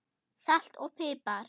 Salt og pipar